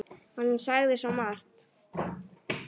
Hann sagði svo margt.